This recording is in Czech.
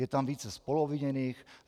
Je tam více spoluobviněných.